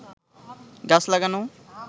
গাছ লাগানো